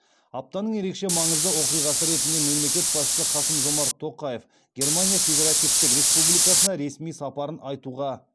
аптаның ерекше маңызды оқиғасы ретінде мемлекет басшысы қасым жомарт тоқаев германия федеративтік республикасына ресми сапарын айтуға